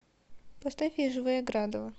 поставь я живая градова